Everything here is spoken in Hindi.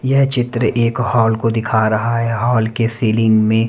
यह चित्र एक हॉल को दिखा रहा है हॉल के सीलिंग में--